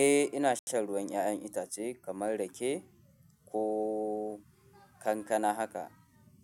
Eh ina shan ruwan 'ya'yan itace kamar rake ko kankana haka